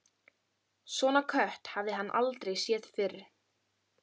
Svona kött hafði hann aldrei séð fyrr.